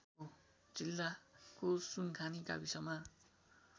जिल्लाको सुनखानी गाविसमा